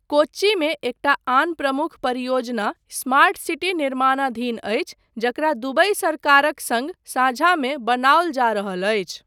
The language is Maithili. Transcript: कोच्चिमे एकटा आन प्रमुख परियोजना स्मार्ट सिटी निर्माणाधीन अछि, जकरा दुबई सरकारक सङ्ग साझामे बनाओल जा रहल अछि।